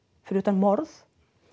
fyrir utan morð